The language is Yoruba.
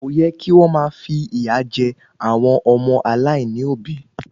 Kò yẹ kí wọ́n máa fi ìyà jẹ àwọn ọmọ aláìní òbí